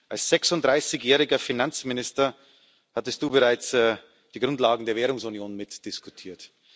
Als 36 jähriger Finanzminister hattest Du bereits die Grundlagen der Währungsunion mitdiskutiert.